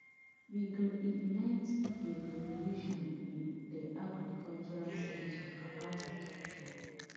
we go ignite a revolution in di agricultural sector akpata tok tok